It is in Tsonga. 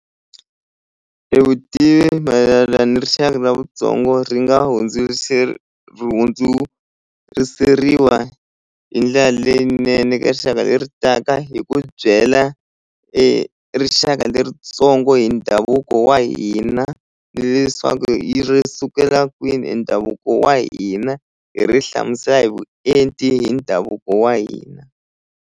E vutivi mayelana ni rixaka na vutsongo ri nga ri hundzuriseriwa hi ndlela leyinene ka rixaka leri taka hi ku byela e rixaka leritsongo hi ndhavuko wa hina ni leswaku yi ri sukela kwini ndhavuko wa hina hi ri hlamusela hi vuenti hi ndhavuko wa hina.